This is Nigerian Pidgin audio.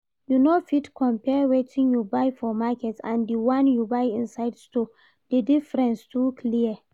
You no fit compare wetin you buy for market and the one you buy inside store, the difference too clear